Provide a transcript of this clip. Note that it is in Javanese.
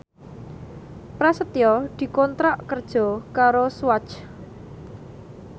Prasetyo dikontrak kerja karo Swatch